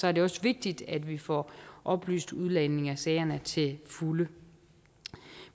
er det også vigtigt at vi får oplyst udlændingesagerne til fulde